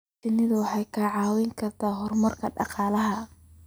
Shinnidu waxay kicin kartaa horumarka dhaqaalaha